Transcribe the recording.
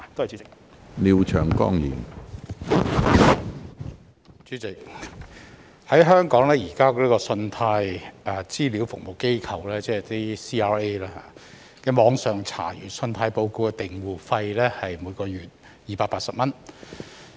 主席，香港現時信貸資料服務機構的網上查閱信貸報告訂戶費是每月280元。